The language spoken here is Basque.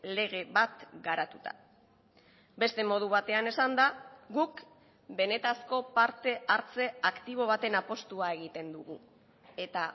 lege bat garatuta beste modu batean esanda guk benetako parte hartze aktibo baten apustua egiten dugu eta